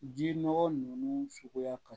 Ji nɔgɔ ninnu suguya ka